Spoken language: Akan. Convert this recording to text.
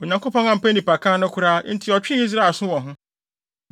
Onyankopɔn ampɛ nnipakan no koraa, enti ɔtwee Israel aso wɔ ho.